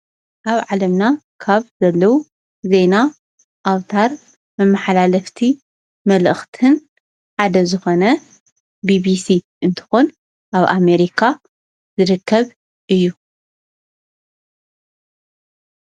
ኣብ ዓለምና ካብ ዘለው ዜና ኣውታር መመሓላለፍቲ መልእኽትን ሓደ ዝኾነ ቢቢሲ እንትኾን ኣብ አሜሪካ ዝርከብ እዩ፡፡